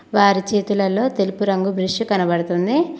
వారి చేతులలో తెలుపు రంగు బ్రష్ కనబడుతుంది